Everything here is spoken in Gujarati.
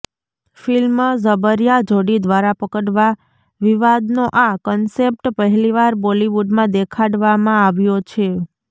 ફિલ્મ જબરિયા જોડી દ્વારા પકડવા વિવાદનો આ કન્સેપ્ટ પહેલીવાર બોલીવુડમાં દેખાડવામાં આવ્યો છે